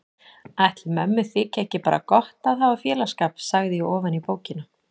Ætli mömmu þyki ekki bara gott að hafa félagsskap, sagði ég ofan í bókina.